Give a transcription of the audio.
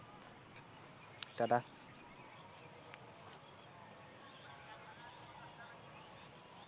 Tata.